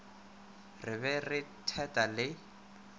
re be re thetha le